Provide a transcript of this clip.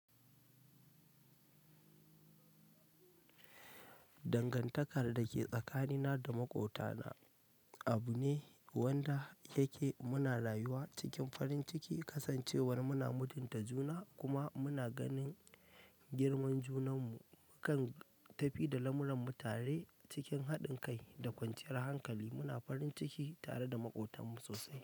Dangantakar da ke tsakanina da maƙwabtana abu ne wanda yake muna rayuwa cikin farin ciki, kasancewar muna mutunta juna kuma muna ganin girman junanmu. Mukan tafi da lamuranmu tare cikin haɗin kai da kwanciyar hankali, muna farin ciki tare da maƙwabtanmu sosai.